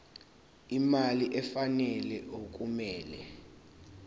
imali efanele okumele